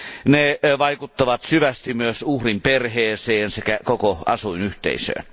Ne vaikuttavat syvästi myös uhrin perheeseen sekä koko asuinyhteisöön.